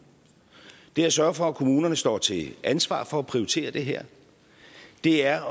det er at sørge for at kommunerne står til ansvar for at prioritere det her det er